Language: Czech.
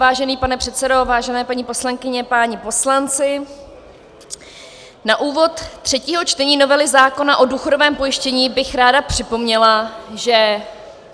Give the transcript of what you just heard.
Vážený pane předsedo, vážené paní poslankyně, páni poslanci, na úvod třetího čtení novely zákona o důchodovém pojištění bych ráda připomněla, že -